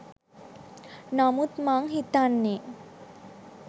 නමුත් මං හිතන්නේ